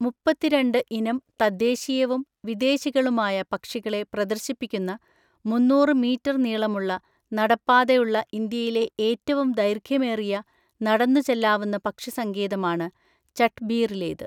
മുപ്പത്തിരണ്ട് ഇനം തദ്ദേശീയവും വിദേശികളുമായ പക്ഷികളെ പ്രദർശിപ്പിക്കുന്ന മൂന്നൂറ് മീറ്റർ നീളമുള്ള നടപ്പാതയുള്ള ഇന്ത്യയിലെ ഏറ്റവും ദൈർഘ്യമേറിയ നടന്നു ചെല്ലാവുന്ന പക്ഷിസങ്കേതമാണ് ചട്ട്ബീറിലേത്.